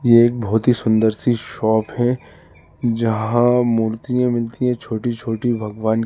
एक बहुत ही सुन्दर सी शॉप है जहां मूर्तियां मिलती है छोटी छोटी भगवान की।